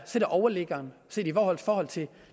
sætter overliggeren i forhold forhold til